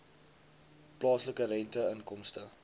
plaaslike rente inkomste